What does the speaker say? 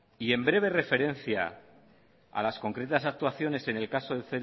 y en breve referencia a las concretas actuaciones en el caso de